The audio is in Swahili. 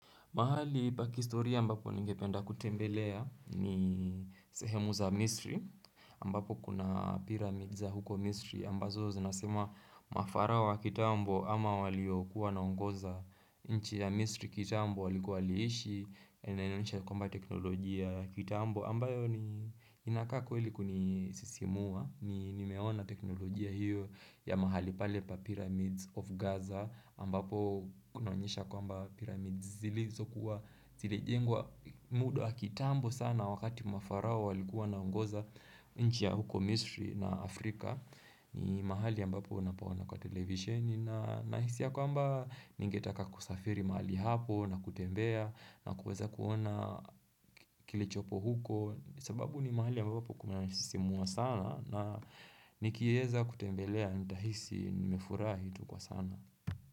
Mahali pa kihistoria ambapo ningependa kutembelea ni sehemu za Misri ambapo kuna pyramids za huko Misri ambazo zinasema mafarao wa kitambo ama waliokuwa wanaongoza nchi ya Misri kitambo walikuwa waliishi linaonyesha kwamba teknolojia kitambo ambayo ni inakaa kweli kunisisimua ni nimeona teknolojia hiyo ya mahali pale pa pyramids of Gaza ambapo kunaonyesha kwamba pyramids zili. So kuwa zile jengwa muda kitambo sana wakati mafarao walikuwa wanaongoza nchi ya huko Misri na Afrika. Ni mahali ambapo unapaona kwa televisioni na nahisi ya kwamba ningetaka kusafiri mali hapo na kutembea na kuweza kuona kilichopo huko. Sababu ni mahali ambapo kumenisisimua sana na nikiweza kutembelea nitahisi nimefurahi kwa sana.